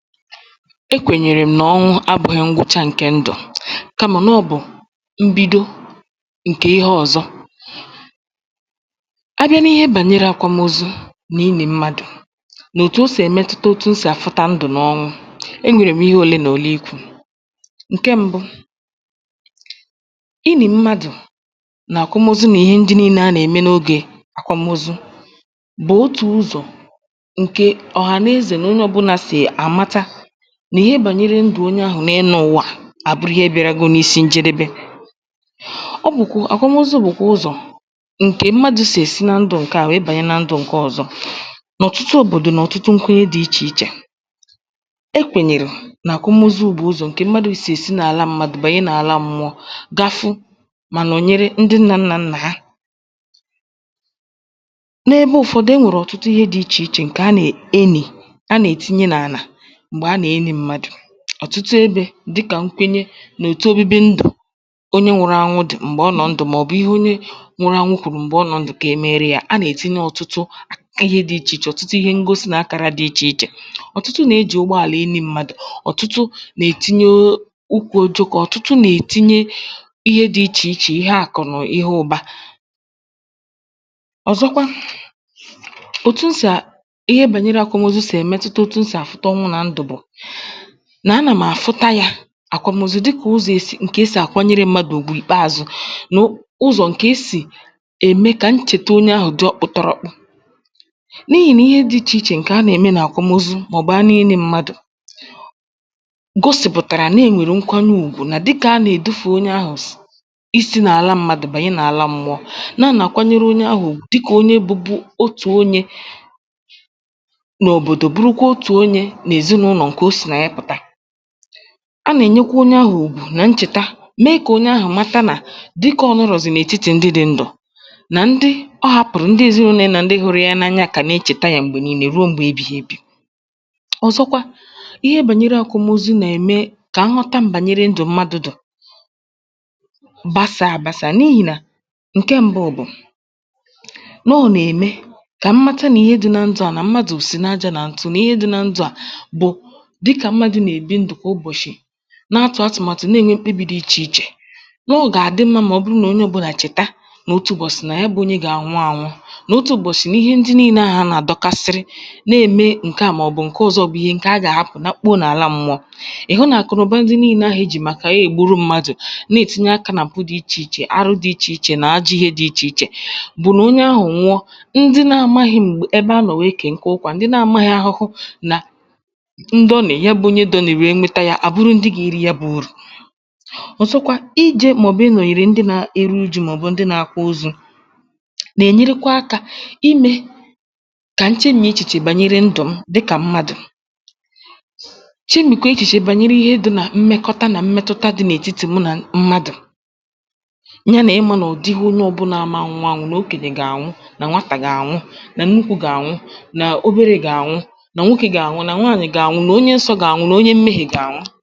e kwènyèrè m̀ nà ọnwụ abụ̄ghị ngwụcha ǹkẹ̀ ndụ̀. kamà nà ọ̀ bụ̀ mbidò ǹkè ihe ọ̀zọ. a bịa na ihe bànyere akwamozu, nà inì mmadù, nà òtù o sì ẹ̀ mẹtụta otu e sì àfụta ndụ̀ nà ọnwụ, ẹ nwẹ̀rè m ịhe òlee nà òlee ikwū. ǹkẹ mbụ, I nì mmadù, nà àkwamozu nà ịhẹ ndị nine a nà ẹ̀mẹ n’ogè akwamozu, bụ̀ otù ụzọ̀ ǹke ọ̀hàneze nà onye ọbụna sì àmata nà ịhẹ bànyere ndụ̀ onye ahụ m’enu ụ̀wà à, àbụrụ ihẹ bịarago n’isi ǹjẹdẹbẹ. ọ bụ̀, àkwamozu bụ̀ ụzọ̀ ǹkè mmadù sì èsi na ndụ̄ ǹkẹ̀ à wèe bànye na ndụ̄ ǹkẹ ọzọ. nà ọ̀tụtụ òbòdò nà ọ̀tụtụ nkwuo dị ichè ichè, e kwènyèrè, nà àkwamozu bù ụzọ̀ mmadū sì èsi n’àla mmadù bànye nà àla mmụọ, ga fụ, mà nọ̀nyere ndị nnā nnà ha. n’ogē ụfọdụ, e nwèrè ọ̀tụtụ ihe dị ichè ichè ǹkè a nà e nì, ǹkè a nà ètinye n’àlà m̀gbè a nà enī mmadù. ọ̀tụtụ ebe, dịkà nkwenye, nà òtu obibi ndụ̀, onye nwụru anwụ dị, m̀gbè ọ nọ̀ ndụ̀, mà ọ̀ bụ̀ ihe onye nwụrụ anwụ kwùrù m̀gbè ọ nọ̀ ndụ̀, kà e mere yā. a nà ètinye ọ̀tụtụ ịhe dị ichè ichè, ọ̀tụtụ ihe ngosi, nà akàra dị ichè ichè. ọ̀tụtụ nà e jì ụgbọàlà e nī mmadù. ọ̀tụtụ nà etinye ukwù ojī, ọ̀tụtụ nà ètinye ihe dị ichè ichè. ọ̀zọkwa, òtù m sì à